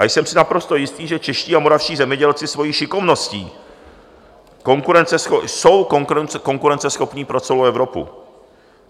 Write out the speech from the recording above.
A jsem si naprosto jistý, že čeští a moravští zemědělci svojí šikovností jsou konkurenceschopní pro celou Evropu.